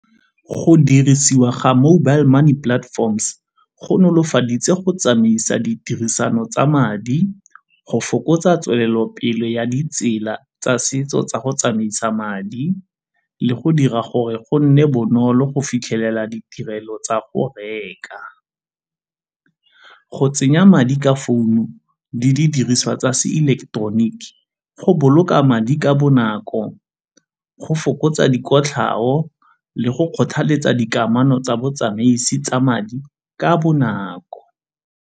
Go dirisiwa ga mobile money platforms go nolofaditse go tsamaisa ditirisano tsa madi, go fokotsa tswelelopele ya ditsela tsa setso tsa go tsamaisa madi le go dira gore go nne bonolo go fitlhelela ditirelo tsa go reka. Go tsenya madi ka founu di didiriswa tsa se-electronic go boloka madi ka bonako, go fokotsa dikotlhao le go kgothaletsa dikamano tsa botsamaisi tsa madi ka bonako.